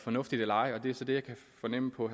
fornuftigt eller ej og det er så det jeg kan fornemme på